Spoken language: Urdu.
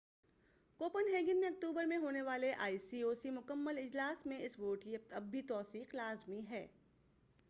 کوپن ہیگن میں اکتوبر میں ہونے والے آئی او سی کے مکمل اجلاس میں اس ووٹ کی اب بھی توثیق لازمی ہے